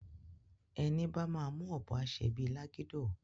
Eni bá má mú òbò á sé bi lágidó